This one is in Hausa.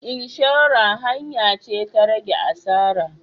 Inshora hanya ce ta rage asara.